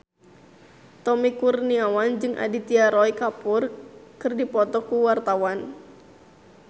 Tommy Kurniawan jeung Aditya Roy Kapoor keur dipoto ku wartawan